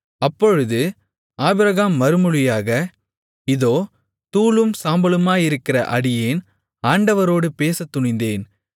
அப்பொழுது ஆபிரகாம் மறுமொழியாக இதோ தூளும் சாம்பலுமாயிருக்கிற அடியேன் ஆண்டவரோடு பேசத்துணிந்தேன்